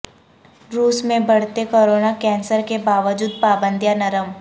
روس میں بڑھتے کورونا کیسز کے باوجود پابندیاں نرم